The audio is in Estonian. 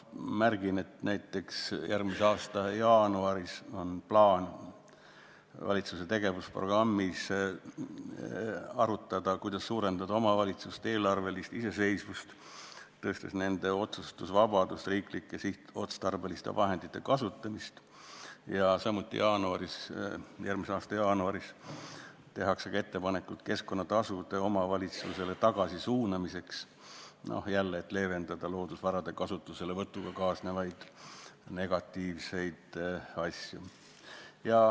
Märgin, et näiteks järgmise aasta jaanuaris on valitsuse tegevusprogrammi järgi plaan arutada, kuidas suurendada omavalitsuste eelarvelist iseseisvust, suurendades nende otsustusvabadust riiklike sihtotstarbeliste vahendite kasutamisel, ja samuti järgmise aasta jaanuaris tehakse ettepanekud keskkonnatasude omavalitsustele tagasi suunamiseks, jälle selleks, et leevendada loodusvarade kasutuselevõtuga kaasnevaid negatiivseid asju.